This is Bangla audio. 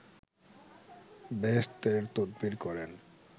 বেহেসতের তদবির করেন